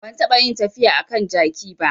Ban taɓa yin tafiya a kan jaki ba